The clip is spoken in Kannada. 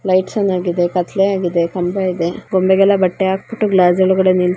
ಲೈಟ್ಸ್ ಆನ್ ಹಾಗಿದೆ ಕತ್ತಲೆ ಹಾಗಿದೆ ಕಂಬ ಇದೆ ಗೊಂಬೆಗೆಲ್ಲ ಬಟ್ಟೆ ಹಾಕ್ಬಿಟ್ಟು ಗ್ಲಾಸ್ ಒಳಗಡೆ ನಿಲ್ಲಿ --